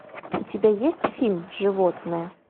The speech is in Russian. у тебя есть фильм животное